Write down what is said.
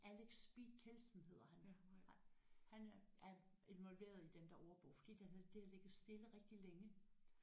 Alex Speed Kjeldsen hedder han han øh er involveret i den der ordbog fordi den har det har ligget stille rigtig længe